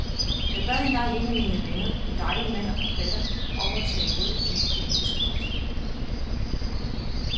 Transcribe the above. Jeg bad engang en af mine venner, en dejlig mand og forfatter, om at tage imod en politisk post.